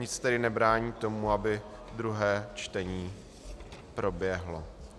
Nic tedy nebrání tomu, aby druhé čtení proběhlo.